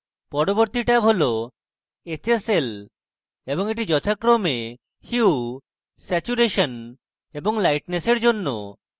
পরবর্তী tab hsl hsl এবং the যথাক্রমে hue saturation এবং lightness এর জন্য